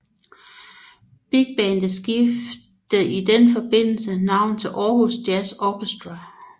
Bigbandet skiftede i den forbindelse navn til Aarhus Jazz Orchestra